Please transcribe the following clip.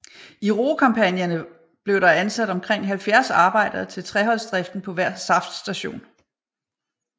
I roekampagnerne blev der ansat omkring 70 arbejdere til treholdsdriften på hver saftstation